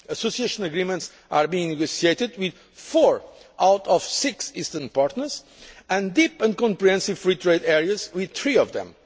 policy. Association Agreements are being negotiated with four of the six eastern partners and deep and comprehensive free trade areas with three